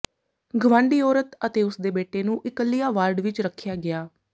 ਗਵਾਂਢੀ ਔਰਤ ਅਤੇ ਉਸ ਦੇ ਬੇਟੇ ਨੂੰ ਇਕੱਲਿਆਂ ਵਾਰਡ ਵਿਚ ਰੱਖਿਆ ਗਿਆ